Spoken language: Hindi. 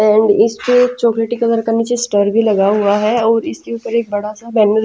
एंड इसपे चॉकलेटी कलर का नीचे स्टरर भी लगा हुआ है और इसके ऊपर एक बड़ा सा बैनर --